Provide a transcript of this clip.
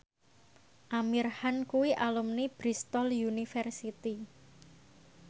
Amir Khan kuwi alumni Bristol university